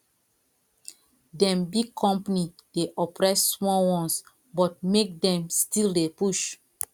dem big company dey oppress small ones but make dem still dey push